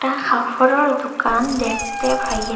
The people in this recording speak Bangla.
একটা কাফড়ের দোকান দেখতে পাইরা।